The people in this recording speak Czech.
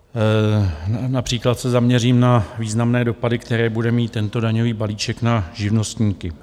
Například se zaměřím na významné dopady, které bude mít tento daňový balíček na živnostníky.